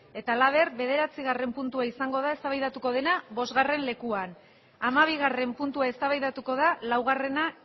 eta laber bederatzigarren puntua izangoda ez da baidatukodena bostgarren lekuan amabigarren puntua ez ta baida tuko da laugarrena